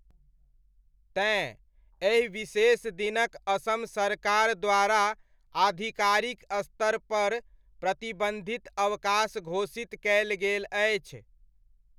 तेँ, एहि विशेष दिनक असम सरकार द्वारा आधिकारिक स्तरपर प्रतिबन्धित अवकाश घोषित कयल गेल अछि।